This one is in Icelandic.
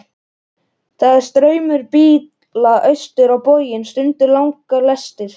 Það er straumur bíla austur á bóginn, stundum langar lestir.